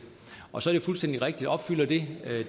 og så er det fuldstændig rigtigt opfylder det